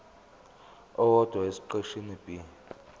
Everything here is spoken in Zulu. owodwa esiqeshini b